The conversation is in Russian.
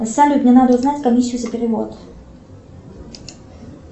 салют мне надо узнать комиссию за перевод